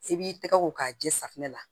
I b'i tɛgɛ ko k'a jɛ safinɛ la